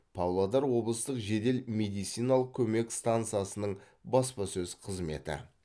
павлодар облыстық жедел медициналық көмек стансасының баспасөз қызметі